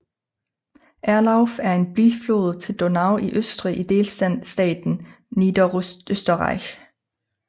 Erlauf er en biflod til Donau i Østrig i delstaten Niederösterreich